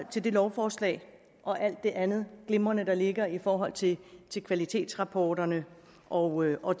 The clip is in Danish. til det lovforslag og alt det andet glimrende der ligger i forhold til til kvalitetsrapporterne og og